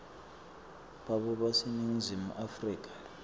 babo baseningizimu afrika